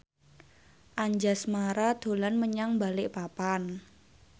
Anjasmara dolan menyang Balikpapan